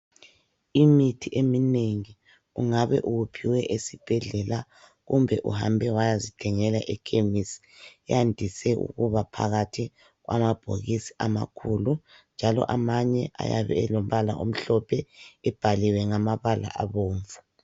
Imithi eminengi ungabe uwuphiwe esibhedlela kumbe uhambe wayazithengela epharmarcy yandise ukuba phakathi kwamabhokisi amakhulu njalo amanye ayabe elombala omhlophe ebhaliwe ngamabala abomvu